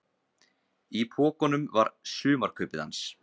Í pokunum var sumarkaupið hans.